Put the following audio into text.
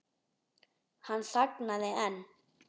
Hann þagnaði en